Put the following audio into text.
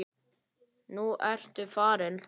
Nú ertu farinn.